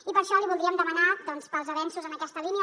i per això li voldríem demanar doncs pels avenços en aquesta línia